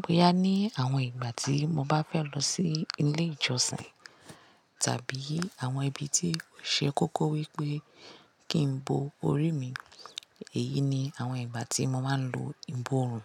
Bóyá ní àwọn ìgbà tí mo bá fẹ́ lọ sí ilé ìjọsìn tàbí àwọn ibi tí ò ṣe kókó wípé kì n bò orí mi, èyí ni àwọn ìgbà tí mo máa ń lo ìbòòrùn.